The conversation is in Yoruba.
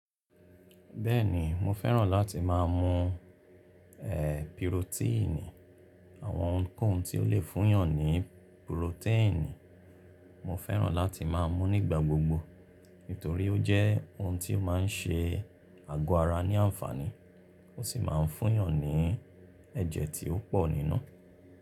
Bẹ́ẹ̀ni mo fẹ́ràn láti máa mú e pírótíìnì, àwọn ohunkóhun tí ó lè fúnyàn ní pùròtẹ́ẹ̀nì. Mo fẹ́ràn láti máa mú nígbà gbogbo, nítorí ó jẹ́ ohun tí ó máa ń ṣe àgọ́ ara ní àǹfààní, ó sì máa ń fúnyàn ní ẹ̀jẹ̀ tí ó pò nínú.